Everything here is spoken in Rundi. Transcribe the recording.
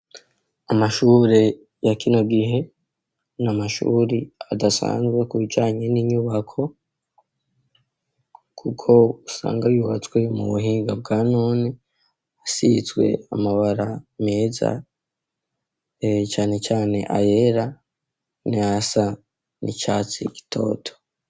Amashure yakina gihe ni amashuri adasanzwe kucanye n'inyubako, kuko usanga yubatswe mu buhinga bwa none asitswe amabara meza canecane ayera ni a sa ni cae atsi igitoto.